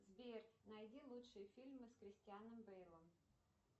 сбер найди лучшие фильмы с кристианом бейлом